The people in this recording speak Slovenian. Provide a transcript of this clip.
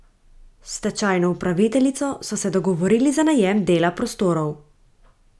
S stečajno upraviteljico so se dogovorili za najem dela prostorov.